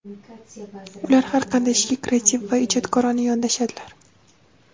Ular har qanday ishga kreativ va ijodkorona yondashadilar.